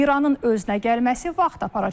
İranın özünə gəlməsi vaxt aparacaq.